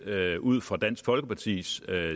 ud fra dansk folkepartis